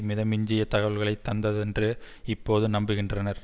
மித மிஞ்சிய தகவல்களை தந்ததென்று இப்போது நம்புகின்றனர்